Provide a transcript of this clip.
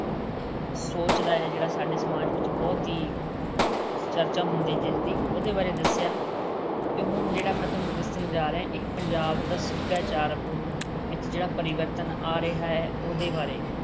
ਸੋਚਦਾ ਹੈ ਜਿਹੜਾ ਸਾਡੇ ਸਮਾਜ ਵਿੱਚ ਬਹੁਤ ਹੀ ਚਰਚਾ ਹੁੰਦੀ ਜਿਸਦੀ ਉਹਦੇ ਬਾਰੇ ਦੱਸਿਆ ਅਤੇ ਹੁਣ ਜਿਹੜਾ ਮੈਂ ਤੁਹਾਨੂੰ ਦੱਸਣ ਜਾ ਰਿਹਾ ਇਹ ਪੰਜਾਬ ਦਾ ਸੱਭਿਆਚਾਰ ਵਿੱਚ ਜਿਹੜਾ ਪਰਿਵਰਤਨ ਆ ਰਿਹਾ ਹੈ ਉਹਦੇ ਬਾਰੇ